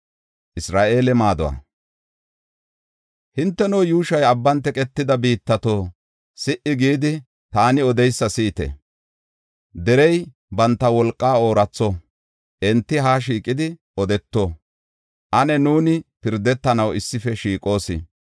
Hinteno, yuushoy abban teqetida biittato, si77i gidi, taani odeysa si7ite! Derey banta wolqaa ooratho; enti haa shiiqidi, odeto; ane nuuni pirdetanaw issife shiiqoos.